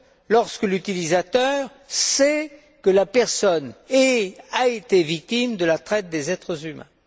lorsque l'utilisateur sait que la personne est, et a été, victime de la traite des êtres humains.